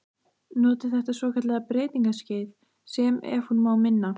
Noti þetta svokallaða breytingaskeið- sem, ef hún má minna